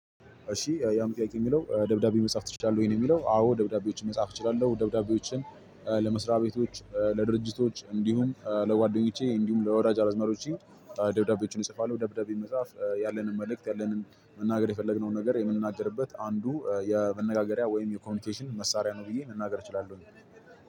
እሺ ያም ጥያቄ የሚለው ደብዳቤ መጻፍ ትችላለህ ወይ ነው? የሚለው አዎ ደብዳቤዎችን መጻፍ እችላለሁ። ደብዳቤዎችን ለመስሪያ ቤቶች ለድርጅቶች እንዲሁም ለጓደኞቼ እንዲሁም ለወዳጅ አዝማዶቼ ደብዳቤዎችን እጽፋለሁ። ደብዳቤ መጽሐፍ ያለንን መልእክት ያለንን መናገር የፈለግነውን ነገር የምንናገርበት አንዱ የመነጋገሪያ ወይም የኮሚኒኬሽን መሳሪያ ነው። ብዬ መናገር እችላለሁ።